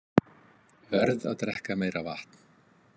Verð að drekka meira vatn.